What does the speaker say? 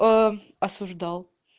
аа осуждал